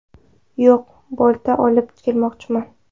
Yo‘q, bolta olib kelmoqchiman!